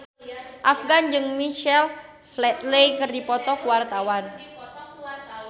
Afgan jeung Michael Flatley keur dipoto ku wartawan